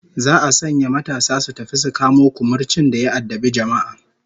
Za'a sanya matasa su tafi su kamo kumurcin da ya addabi jama'a